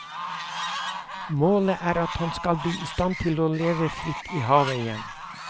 Målet er at han skal bli i stand til å leve fritt i havet igjen.